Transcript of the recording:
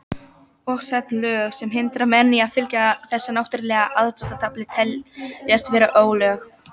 Og sett lög sem hindra menn í að fylgja þessu náttúrulega aðdráttarafli teljast vera ólög.